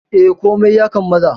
Eh, komai ya kammala.